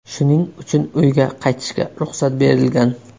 Shuning uchun uyga qaytishga ruxsat berilgan.